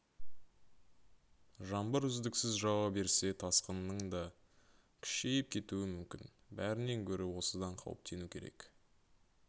жаңбыр үздіксіз жауа берсе тасқынның да күшейіп кетуі мүмкін бәрінен гөрі осыдан қауіптену керек